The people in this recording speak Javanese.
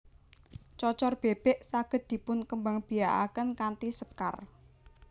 Cocor Bèbèk saged dipun kembangbiakaken kanthi sekar